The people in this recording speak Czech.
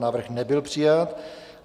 Návrh nebyl přijat.